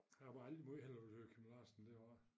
Han har bare aldrig måj hellere ville høre Kim Larsen det var